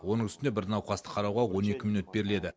оның үстіне бір науқасты қарауға он екі минут беріледі